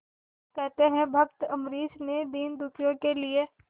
कहते हैं भक्त अम्बरीश ने दीनदुखियों के लिए